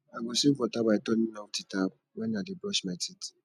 i go save water by turning off di tap when i dey brush my teeth